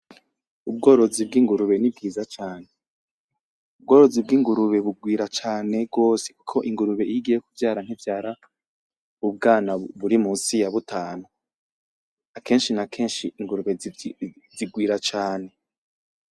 Ubworozi bw'ingurube nibwiza cane. Ubworozi bw'ingurube bugwira cane gwose kuko ingurube iyo igiye kuvyara ntivyara ubwana buri munsi yabutanu, akenshi n'akesnhi ingurube zigwira cane.